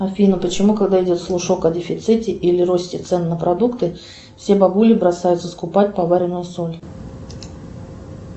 афина почему когда идет слушок о дефиците или росте цен на продукты все бабули бросаются скупать поваренную соль